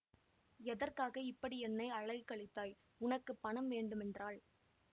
எதற்காக இப்படி என்னை அலைக்கழித்தாய் உனக்கு பணம் வேண்டுமென்றால்